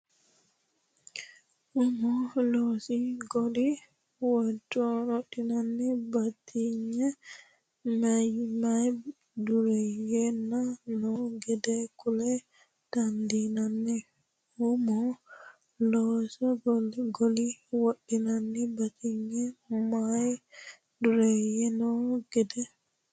Umu loosi goli widoonnino batinye meyaa dureeyyeno noo gede kula dandiinanni Umu loosi goli widoonnino batinye meyaa dureeyyeno noo gede.